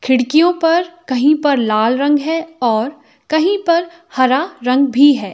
खिड़कियों पर कहीं पर लाल रंग है और कहीं पर हरा रंग भी है।